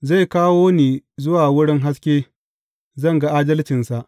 Zai kawo ni zuwa wurin haske; zan ga adalcinsa.